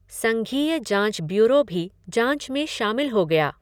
संघीय जाँच ब्यूरो भी जाँच में शामिल हो गया।